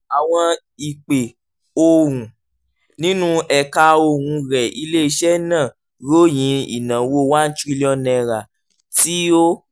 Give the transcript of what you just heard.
àwọn ìpè ohùn nínú ẹ̀ka ohùn rẹ̀ ilé iṣẹ́ náà ròyìn ìnáwó one trillion naira tí ó